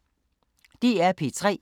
DR P3